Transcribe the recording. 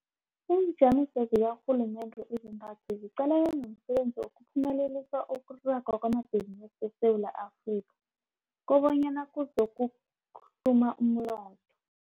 Iinjamiso zikarhulumende ezintathu ziqalene nomsebenzi wokuphumelelisa ukuragwa kwamabhizinisi eSewula Afrika kobanyana kuzokuhluma umnotho.